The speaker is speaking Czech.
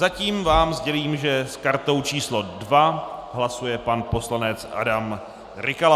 Zatím vám sdělím, že s kartou číslo 2 hlasuje pan poslanec Adam Rykala.